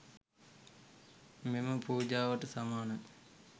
මෙම පූජාවට සමානයි.